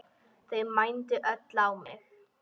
Þau mændu öll á mig.